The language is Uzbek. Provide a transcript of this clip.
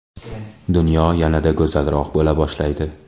dunyo yanada go‘zalroq bo‘la boshlaydi.